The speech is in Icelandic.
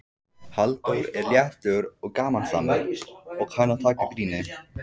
Halldór er léttur og gamansamur og kann að taka gríni.